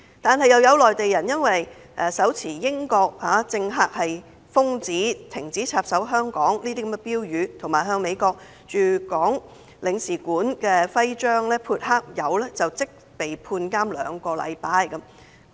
然而，有內地人士因為手持"英國政客是瘋子，停止插手香港"等標語，以及向美國駐港領事館的徽章潑黑色漆油，便即被判監兩個星期。